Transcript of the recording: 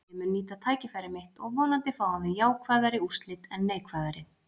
Ég mun nýta tækifæri mitt og vonandi fáum við jákvæðari úrslit en neikvæðari.